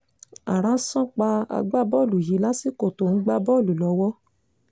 ààrá san pa agbábọ́ọ̀lù yìí lásìkò tó ń gbá bọ́ọ̀lù lọ́wọ́